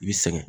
I bi sɛgɛn